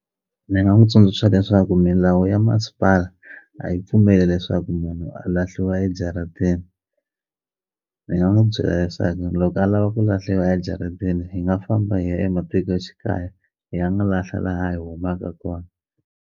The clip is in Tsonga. Ni nga n'wu tsundzuxa leswaku milawu ya masipala a yi pfumeli leswaku munhu a lahliwa ejarateni ni nga n'wu byela leswaku loko a lava ku lahliwa ejaratini hi nga famba hi ya ematikoxikaya hi ya n'wu lahla laha hi humaka kona.